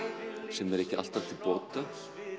sem er ekki alltaf til bóta